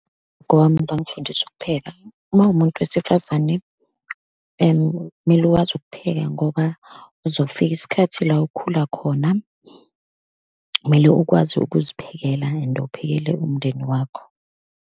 wami bekangifundisa ukupheka. Uma uwumuntu wesifazane, kumele uwazi ukupheka, ngoba uzofika isikhathi la ukhula khona, kumele ukwazi ukuziphekela and uphekela umndeni wakho.